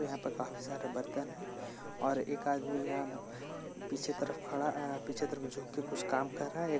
यहाँ प काफी सारे बर्तन है और एक आदमी यहाँ पीछे तरफ खड़ा ऐ पीछे तरफ झुक कर कुछ काम कर रहा है।